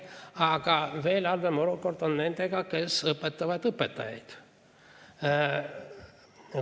Aga veel halvem olukord on nendega, kes õpetavaid õpetajaid.